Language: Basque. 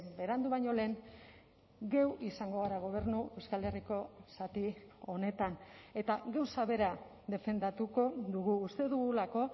berandu baino lehen geu izango gara gobernu euskal herriko zati honetan eta gauza bera defendatuko dugu uste dugulako